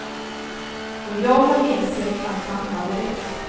Och jag har insett att han hade rätt.